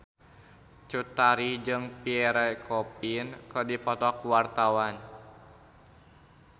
Cut Tari jeung Pierre Coffin keur dipoto ku wartawan